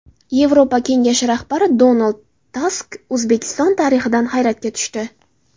Yevropa Kengashi rahbari Donald Tusk O‘zbekiston tarixidan hayratga tushdi.